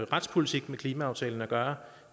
retspolitik med klimaaftalen at gøre